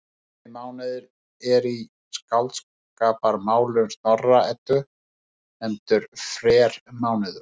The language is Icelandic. Sami mánuður er í Skáldskaparmálum Snorra-Eddu nefndur frermánuður.